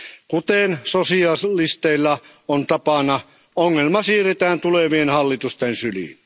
Kuten sosialisteilla on tapana, ongelmat siirretään tulevien hallitusten syliin.